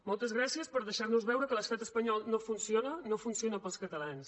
moltes gràcies per deixar nos veure que l’estat espanyol no funciona i no funciona per als catalans